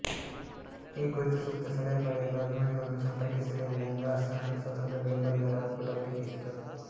ಈ ಕುರಿತು ಸೂಕ್ತ ಸಲಹೆ ಪಡೆಯಲು ಅಭಿಮಾನಿಗಳನ್ನು ಸಂಪರ್ಕಿಸಲೇ ಇಲ್ಲ ಎಂದು ಆರ್ಸೆನಲ್ ಸ್ವತಂತ್ರ ಬೆಂಬಲಿಗರ ಒಕ್ಕೂಟವು ಟೀಕಿಸಿತು